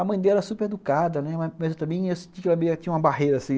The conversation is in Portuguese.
A mãe dela é super educada, né, mas eu também senti que ela tinha uma barreira assim.